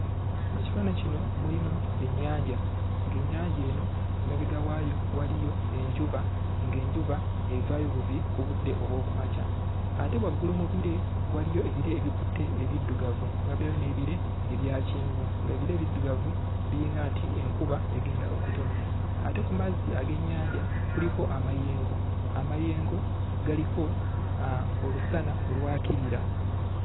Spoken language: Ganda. Mu kifaananyi kino mulimu ennyanja, ng'ennyanja eno emabega waayo waliyo enjuba, n'genjuba evaayo buvi ku budde obw'oku makya. Ate waggulu mu bire waliyo ebire ebikutte ebiddugavu ne wabeerayo n'ebire ebya kyenvu, ng'ebire ebiddugavu biringa nti enkuba egenda okutonnya. Ate ku mazzi ag'ennyanja kuliko amayengo. Amayengo galiko olusana olwakirira.